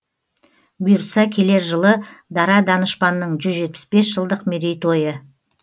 бұйыртса келер жылы дара данышпанның жүз жетпіс бес жылдық мерейтойы